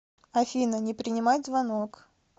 афина не принимать звонок